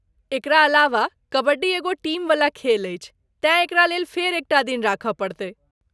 एकरा अलावा ,कबड्डी एगो टीमवला खेल अछि तेँ एकरा लेल फेर एक टा दिन राखय पड़तै।